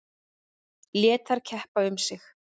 Lét þær keppa um sig.